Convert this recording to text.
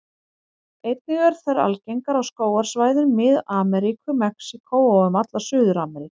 Einnig eru þær algengar á skógarsvæðum Mið-Ameríku, Mexíkó og um alla Suður-Ameríku.